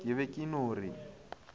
ke be ke no re